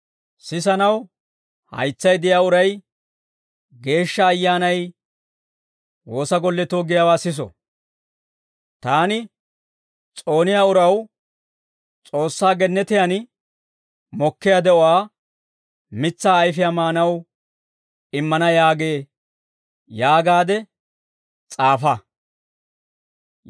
«Sisanaw haytsay de'iyaa uray Geeshsha Ayyaanay woosa golletoo giyaawaa siso; Taani s'ooniyaa uraw S'oossaa gennetiyaan mokkiyaa de'uwaa mitsaa ayfiyaa maanaw immana yaagee» yaagaade s'aafa.